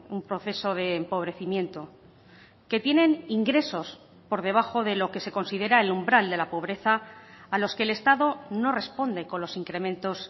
un proceso de empobrecimiento que tienen ingresos por debajo de lo que se considera el umbral de la pobreza a los que el estado no responde con los incrementos